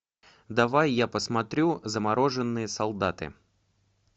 давай я посмотрю замороженные солдаты